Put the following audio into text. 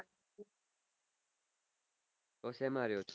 તો શેમાં રહો છો